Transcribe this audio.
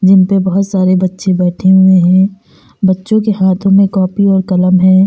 जिन पे बहोत सारे बच्चे बैठे हुए हैं बच्चों के हाथों में कॉपी और कलम है।